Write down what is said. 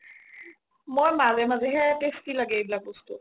মই মাজে মাজে হে tasty লাগে এইবিলাক বস্তু